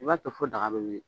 I b'a to fɔ daga bɛ wuli.